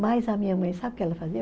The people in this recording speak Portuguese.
Mas a minha mãe, sabe o que ela fazia?